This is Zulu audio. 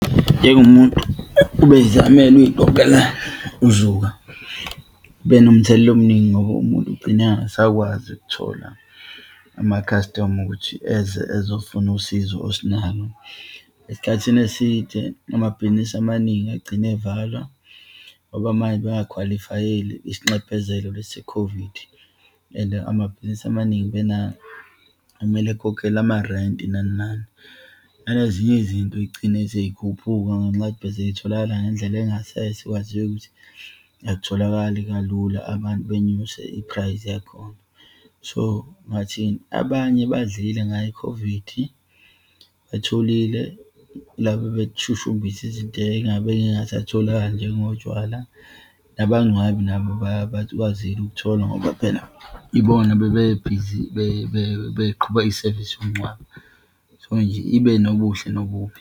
Njengomuntu ubeyizamela, uyiqoqela uzuka kube nomthelela omuningi ngoba umuntu ugcine engasakwazi ukuthola ama-customer ukuthi eze ezofuna usizo osunalo. Esikhathini eside, amabhizinisi amaningi agcine evalwa, ngoba manje bengakhwalifayeli isinxephezelo lesi se-COVID, and amabhizinisi amaningi kumele akhokhele amarenti nani nani. Nanezinye izinto yigcine seyikhuphuka ngenxa yokuth beseyitholakala ngendlela yangasese, sekwaziwa ukuthi akutholakali kalula, abantu benyuse i-price yakhona. So, ngingathini, abanye badlile ngayo i-COVID, batholile, laba ababeshushumbisa izinto eyingabe zingasatholakali njengotshwala, nabangcwabi nabo bakwazile ukuthola ngoba phela ibona bebebhizi beqhuba isevisi yomngcwabo. So nje, ibe nobuhle nobubi.